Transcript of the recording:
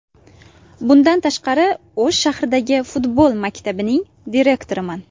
Bundan tashqari O‘sh shahridagi futbol maktabining direktoriman.